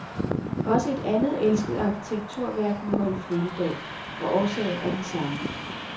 Også et andet elsket arkitekturværk må holde flyttedag, og årsagen er den samme.